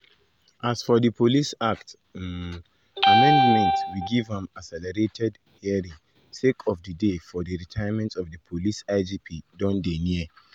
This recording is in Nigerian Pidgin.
"as for di police act um amendmenment we give am accelerated um hearing sake of di day for di retirement of di police igp don dey near.